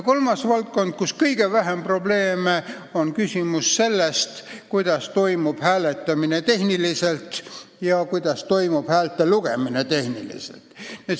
Kolmas valdkond, kus on kõige vähem probleeme, on see, kuidas toimub hääletamine ja häälte lugemine tehniliselt.